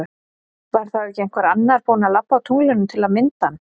Var þá ekki einhver annar búin að labba á tunglinu til að mynda hann?